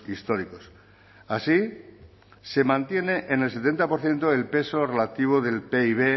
históricos así se mantiene en el setenta por ciento el peso relativo del pib